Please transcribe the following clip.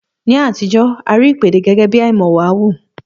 Ní àtijọ́, a rí ìpèdè gẹ́gẹ́bí àìmọ̀wàhu